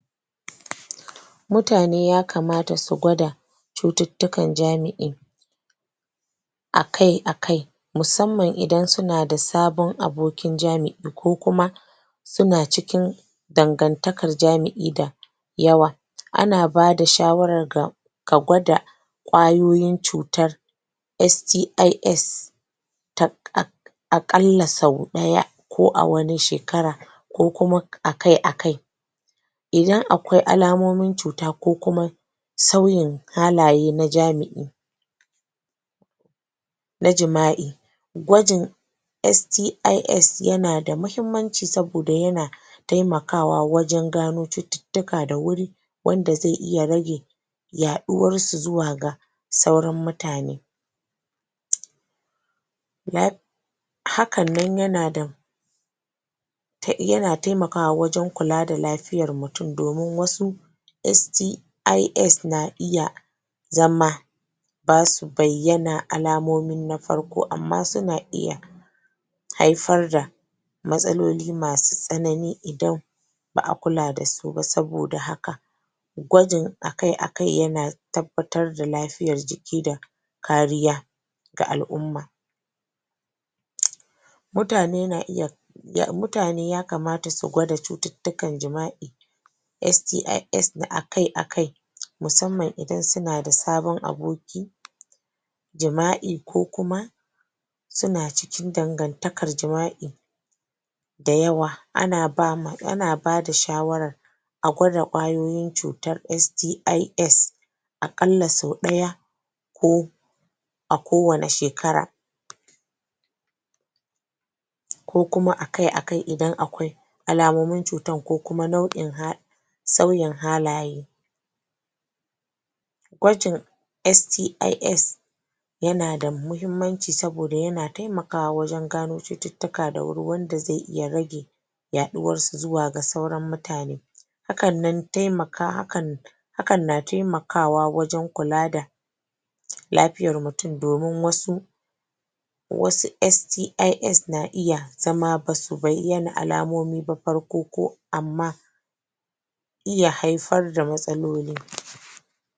Mutane ya kamata su gwada cututtukan jami'i akai-akai musamman idan suna da sabon abokin jami'i ko kuma, suna cikin dangantakar jami'i da yawa. Ana bada shawarar ga ka gwada ƙwayoyin cutar "STIS" a ƙalla sau ɗaya ko a wane shekara. ko kuma akai-akai. Idan akwai alamomin cuta ko kuma sauyin halaye na jami'i, Na jima'i Gwajin "STIS" yana da muhimmanci, saboda yana taimakawa wajen gano cututtuka da wuri, wanda zai iya rage yaɗuwarsu zuwa ga sauran mutane. Hakan nan yana da Yana taimakwa wajen kula da lafiyar mutum, domin wasu "STIS" na iya zama ba su bayyana alamomi na farko, amma suna iya haifar da matsaloli masu tsanani idan ba a kula da su ba, saboda haka gwajin akai-akai yana tabbatar da lafiyar jiki da kariya. ga al'umma. Mutane na iyaAS`1 mutane na iya mutane ya kamata su gwada cututtukan jima'i "STIS" akai-akai musamman idan suna da sabon abokin jima'i ko kuma, suna cikin dangantakar jima'i da yawa. Ana ba ma, ana bada shawarar A gwada ƙwayoyin cutar "STIS" a ƙalla sau ɗaya ko a kowane shekara. ko kuma akai-akai idan akwai alamomin cutar ko kuma nau'in sauyin halaye. Gwajin "STIS" Yana da muhimmanci, saboda yana taimakawa wajen gano cututtuka da wuri wanda zai iya rage yaɗuwarsu zuwa ga sauran mutane. hakan nan taimaka hakan hakan na taimakawa wajen kula da lafiyar mutum, domin wasu wasu "STIS" na iya zama ba su bayyana alamomi ba farko ko amma iya haifar da matsaloli.